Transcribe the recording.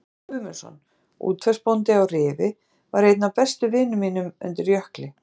Friðþjófur Guðmundsson, útvegsbóndi í Rifi, var einn af bestu vinum mínum undir Jökli.